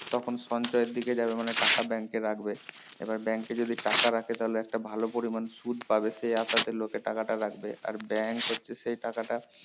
তখন সঞ্চয়ের দিকে যাবে মানে টাকা bank এ রাখবে এবার bank এ যদি টাকা রাখে তাহলে একটা ভালো পরিমান সুদ পাবে সেই আসতে লোকে টাকাটা রাখবে আর bank হচ্ছে সেই টাকাটা